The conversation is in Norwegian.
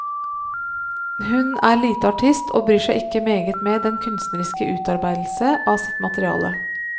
Hun er lite artist og bryr seg ikke meget med den kunstneriske utarbeidelse av sitt materiale.